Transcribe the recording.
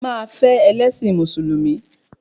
Máa fẹ́ ẹlẹ́ṣin Mùsùlùmí